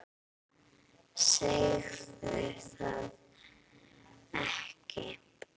Segðu það ekki